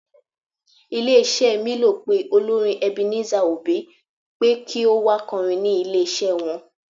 Ilé iṣẹ́ mílò pé olórin Ebenezer obey pé kí ó wá kọrin ní ilé iṣẹ́ wọn.